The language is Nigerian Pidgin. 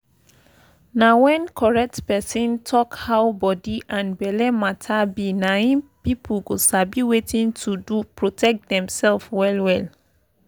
na when correct person talk how body and belle matter be na im people go sabi wetin to do to protect dem sef well well.